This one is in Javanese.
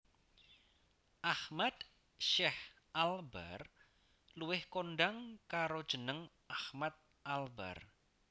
Ahmad Syech Albar luwih kondhang karo jeneng Ahmad Albar